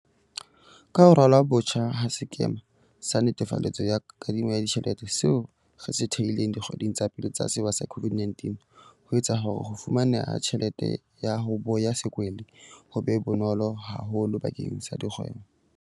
Ka ho ralwa botjha ha sekema sa netefaletso ya kadimo ya ditjhelete, seo re se thehileng dikgweding tsa pele tsa sewa sa COVID-19, ho etsa hore ho fumaneha ha tjhelete ya 'ho boya sekwele' ho be bonolo haholo bakeng la dikgwebo.